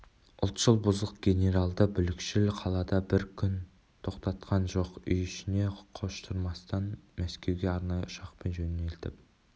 ұлтшыл бұзық генералды бүлікшіл қалада бір күн де тоқтатқан жоқ үй-ішіне қоштастырмастан мәскеуге арнайы ұшақпен жөнелтіп